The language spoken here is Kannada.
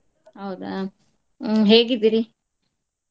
ಹೌದಾ ಹ್ಮ್ ಹೇಗಿದಿರಿ?